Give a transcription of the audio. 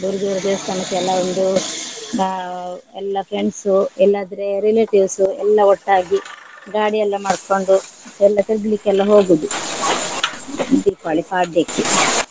ದೂರ ದೂರ ದೇವಸ್ತಾನಕ್ಕೆಲ್ಲ ಒಂದು ಅಹ್ ಎಲ್ಲ friends ಇಲ್ಲದ್ರೆ relatives ಎಲ್ಲಾ ಒಟ್ಟಾಗಿ ಗಾಡಿ ಎಲ್ಲ ಮಾಡ್ಕೊಂಡು ಎಲ್ಲ ತಿರ್ಗ್ಲಿಕ್ಕೆಲ್ಲ ಹೋಗುದು ದೀಪಾವಳಿ ಪಾಡ್ಯಕ್ಕೆ.